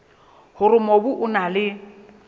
hore mobu o na le